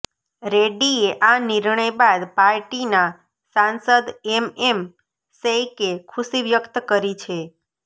રેડ્ડીએ આ નિર્ણય બાદ પાર્ટીના સાંસદ એમએમ શૈકે ખુશી વ્યક્ત કરી છે